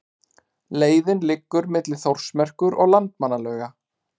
Leiðin liggur milli Þórsmerkur og Landmannalauga.